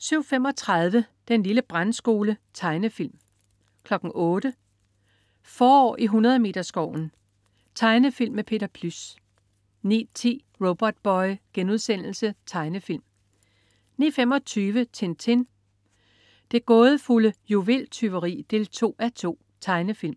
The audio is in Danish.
07.35 Den lille brandskole. Tegnefilm 08.00 Forår i Hundredmeterskoven. Tegnefilm med Peter Plys 09.10 Robotboy.* Tegnefilm 09.25 Tintin. Det gådefulde juveltyveri 2:2. Tegnefilm